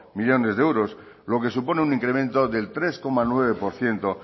millónes de euros lo que supone un incremento del tres coma nueve por ciento